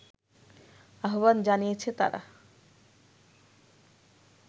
আহবান জানিয়েছে তারা